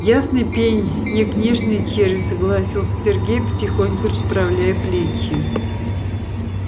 ясный пень не книжный червь согласился сергей потихоньку расправляя плечи